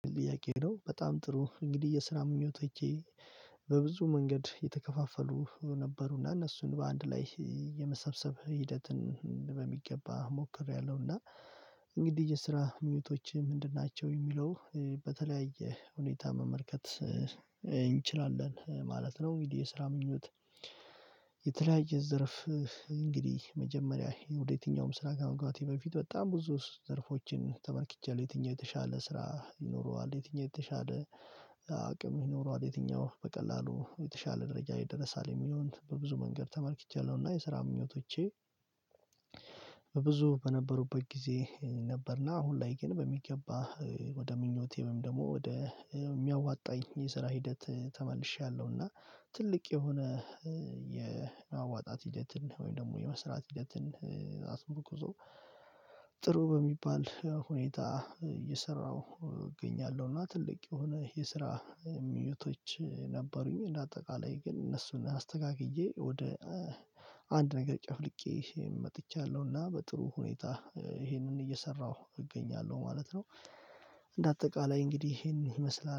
ጥያቄ ነው በጣም ጥሩ እንግዲህ የስራ ምኞቶቼ በብዙ መንገድ የተከፋፈሉ ነበሩና እነሱን በአንድ ላይ የመሰብሰብ ሂደትን በሚገባ ሞክሬያለሁና። እንግዲህ የስራ ምኞቶች ምንድን ናቸው የሚለው? በተለያየ ሁኔታ መመልከት እንችላለን ማለት ነው። እንግዲህ የስራ ምኞት የተለያየ ዘርፍ እንግዲህ መጀመሪያ ወደ የትኛውም ስራ ከመግባቴ በፊት በጣም ብዙ ዘርፎችን ተመልክቻለሁ የትኛው የተሻለ ስራ ይኖረዋል የትኛው የተሻለ አቅም ይኖረዋል የትኛው በቀላሉ የተሻለ ደረጃ ይደርሳል የሚለውን በብዙ መንገድ ተመልክቻለሁ። እና የስራ ምኞቶቼ በብዙ በነበሩበት ጊዜ ነበርና አሁን ላይ ግን በሚገባ ወደ ምኞቴ ወደ የሚያዋጣኝ የስራ ሂደት ተመልሼያለሁና። ትልቅ የሆነ የማዋጣት ሂደትን ወይም ደግሞ የመስራት ሂደትን አስመር ኩዞ ጥሩ በሚባል ሁኔታ እየሰራሁ እገኛለሁ። እና ትልቅ የሆነ የስራ ምኞቶች ነበሩኝ እንደ አጠቃላይ ግን እነሱን አስተካክዬ ወደ አንድ ነገር ጨፍልቄ መጥቻለሁና በጥሩ ሁኔታ ይሄንን እየሰራሁ እገኛለሁ ማለት ነው። እንደ አጠቃላይ እንግዲህ ይሄንን ይመስላል